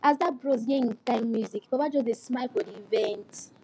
as that bros hear him kind music baba just dey smile for the event